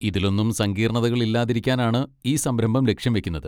ഇതിലൊന്നും സങ്കീർണതകൾ ഇല്ലാതിരിക്കാനാണ് ഈ സംരംഭം ലക്ഷ്യംവെക്കുന്നത്.